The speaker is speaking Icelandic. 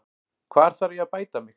Hvar þarf ég að bæta mig?